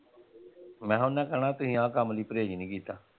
ਮੈਂ ਕਿਹਾ ਓਹਨਾਂ ਕਹਿਣਾ ਤੁਸੀਂ ਆਹ ਕੰਮ ਲਈ ਪ੍ਰਹੇਜ ਨਹੀਂ ਕੀਤਾ।